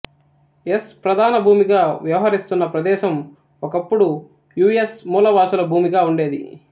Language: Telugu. ఎస్ ప్రధాన భూమిగా వ్యవహరిస్తున్న ప్రదేశం ఒకప్పుడు యు ఎస్ మూలవాసుల భూమిగా ఉండేది